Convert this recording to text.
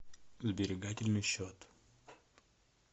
сберегательный счет